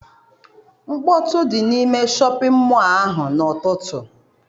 Mkpọtụ dị n'ime shọpịn mọọ ahụ n'ụtụtụ.